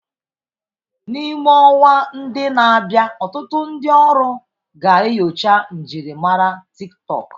N'ime ọnwa ndi na-abịa, ọtụtụ ndi ọrụ ga-enyocha njirimara TikTọk.